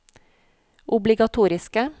obligatoriske